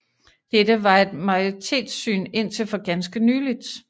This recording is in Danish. Dette var et majoritetssyn indtil for ganske nylig